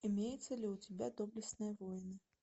имеется ли у тебя доблестные воины